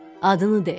Adını de!”